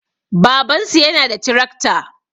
Babansu yana da tirakta